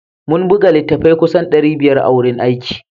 Mun buga littattafai kusan ɗari biyar a wurin aiki